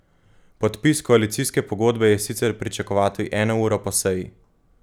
Podpis koalicijske pogodbe je sicer pričakovati eno uro po seji.